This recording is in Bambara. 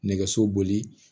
Nɛgɛso boli